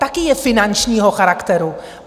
Taky je finančního charakteru.